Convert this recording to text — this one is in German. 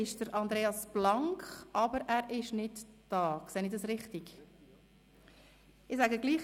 Region Thun, Aaretal, Oberland Ost, Region Gürbetal, Unteres Simmental und Kandertal.